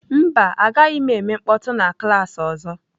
Mba, agaghị m eme mkpọtụ na klaasị ọzọ.